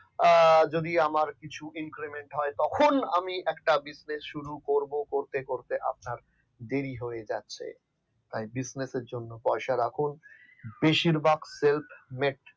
যদি আমার কিছু increment হয় তখন আমি একটা business শুরু করব করতে করতে আপনার দেরি হয়ে যাচ্ছে তাই বিশ্বাসের জন্য পয়সা রাখুন বেশিরভাগ self made